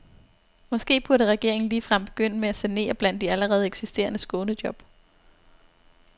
Måske burde regeringen ligefrem begynde med at sanere blandt de allerede eksisterende skånejob.